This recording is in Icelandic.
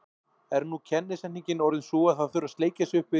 Er nú kennisetningin orðin sú að það þurfi að sleikja sig upp við